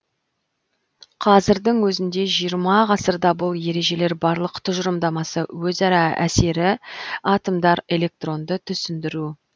қазірдің өзінде жиырма ғасырда бұл ережелер барлық тұжырымдамасы өзара әсері атомдар электронды түсіндіру